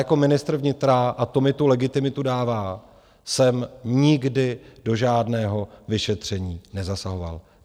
Jako ministr vnitra - a to mi tu legitimitu dává - jsem nikdy do žádného vyšetření nezasahoval.